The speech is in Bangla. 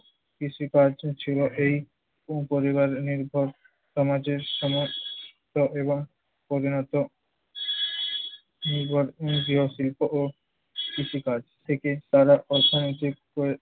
কৃষিকাজ ছিল এই ও পরিবারনির্ভর সমাজের এবং প্রধানত নির্ভর গৃহশিল্প ও কৃষিকাজ থেকে তারা অর্থনৈতিক